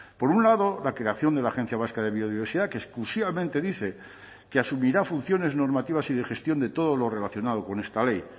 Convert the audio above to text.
por un lado la creación de la agencia vasca de biodiversidad que exclusivamente dice que asumirá funciones normativas y de gestión de todo lo relacionado con esta ley